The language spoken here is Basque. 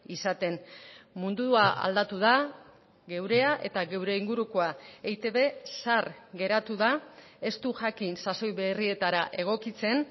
izaten mundua aldatu da geurea eta gure ingurukoa eitb zahar geratu da ez du jakin sasoi berrietara egokitzen